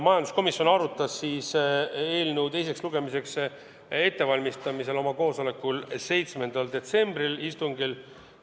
Majanduskomisjon valmistas eelnõu teiseks lugemiseks ette oma 7. detsembri istungil.